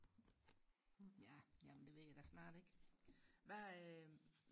Ja men det ved jeg da snart ikke hvad øh